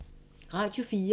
Radio 4